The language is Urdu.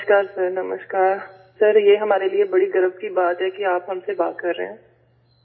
نمسکار سر نمسکار، سر یہ ہمارے لیے بڑے فخر کی بات ہے کہ آپ ہم سے بات کر رہے ہیں